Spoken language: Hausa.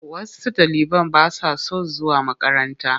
Wash ɗaliban ba sa son zuwa makaranta.